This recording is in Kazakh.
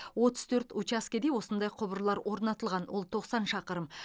отыз төрт учаскеде осындай құбырлар орнатылған ол тоқсан шақырым